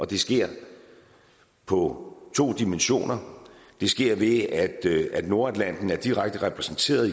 det sker på to dimensioner det sker ved at nordatlanten er direkte repræsenteret